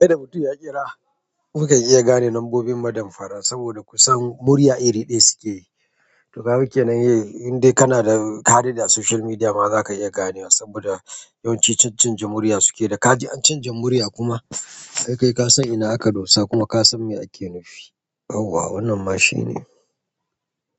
Sai da mutum ya ƙira, kuka iya gane lambobin madan fara saboda kusan murya iri ɗaya suke yi. To ka ga ke nan indai kana da ka kaida a social media ma za ka iya gane wa saboda yawanci can canja murya suke yi. Da ka ji an canja murya kuma ai kai ka san ina aka dosa kuma ka san me ake nufi. Yawwa wannan ma shine.